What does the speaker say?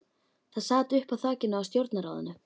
Það sat uppi á þakinu á stjórnarráðinu.